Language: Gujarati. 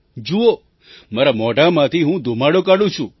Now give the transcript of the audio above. જુઓ મારા મોઢામાંથી હું ધૂમાડો કાઢું છું